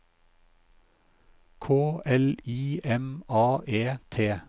K L I M A E T